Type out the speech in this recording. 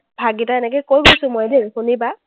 ভাগকেইটা এনেকে কৈ দিছো মই দেই শুনিবা,